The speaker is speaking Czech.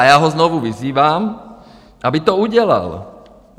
A já ho znovu vyzývám, aby to udělal.